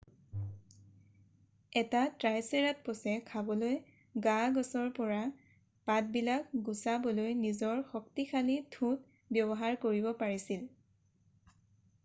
এটা ট্ৰাইচেৰাটপছে খাবলৈ গা-গছৰ পৰা পাতবিলাক গুচাবলৈ নিজৰ শক্তিশালী ঠোঁট ব্যৱহাৰ কৰিব পাৰিছিল